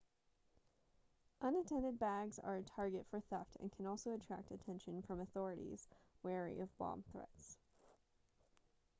unattended bags are a target for theft and can also attract attention from authorities wary of bomb threats